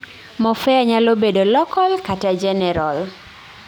Morphea nyalo bedo local kata general